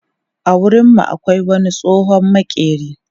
A garin mu akwai wani tsohon maƙeri.